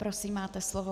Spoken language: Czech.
Prosím, máte slovo.